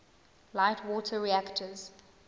light water reactors